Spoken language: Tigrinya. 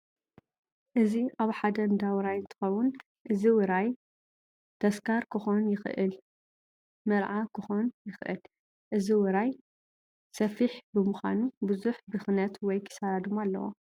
እዚ ኣብ ሓደ እንዳ ውራይ እንትከውን እዚ ውራይ ተስካር ክኮን ይክእል፣ መርዓ ክኮን ይክእል እዚ ውራይ እዚ ሰፊሕ ብምኳኑ ቡዙሕ ብክነት ወይ ኪሳራ ድማ ኣለዎ።